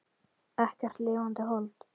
Ekkert lifandi hold.